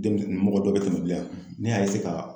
Denmisɛnnin mɔgɔ dɔ bi yan ,ne y'a ka